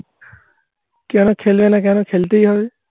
কেন খেলবে না? কেন খেলতেই হবে?